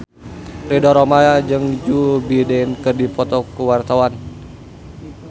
Ridho Roma jeung Joe Biden keur dipoto ku wartawan